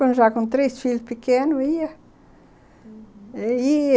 Até eu, já com três filhos pequenos, ia, uhum, ia...